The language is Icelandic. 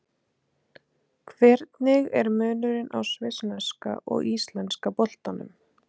Hvernig er munurinn á svissneska og íslenska boltanum?